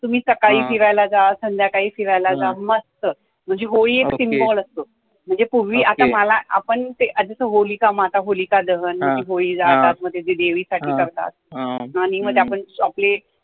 तुम्ही सकाळी फ़िरायला जा, संध्याकाळी फ़िरायला जा, मस्त, म्हणजे होळी एक symbol असतो. म्हणजे पुर्वी आता मला आपण आधी ते मग ते होळी जाळतात, मग ते देवी साठी करतात आणि आपण मग ते chocolate